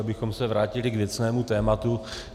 Abychom se vrátili k věcnému tématu.